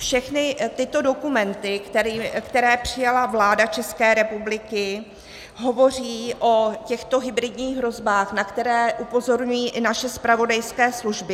Všechny tyto dokumenty, které přijala vláda České republiky, hovoří o těchto hybridních hrozbách, na které upozorňují i naše zpravodajské služby.